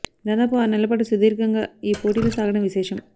దాదాపు ఆరు నెలల పాటు సుదీర్ఘంగా ఈ పోటీలు సాగడం విశేషం